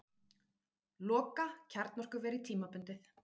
Loka kjarnorkuveri tímabundið